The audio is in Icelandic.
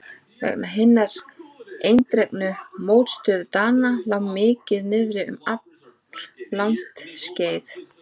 Vegna hinnar eindregnu mótstöðu Dana lá málið niðri um alllangt skeið.